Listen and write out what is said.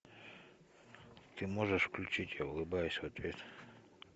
ты можешь включить я улыбаюсь в ответ